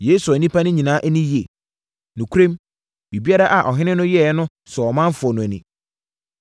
Yei sɔɔ nnipa no ani yie. Nokorɛm, biribiara a ɔhene no yɛeɛ no sɔɔ ɔmanfoɔ no ani.